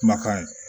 Kumakan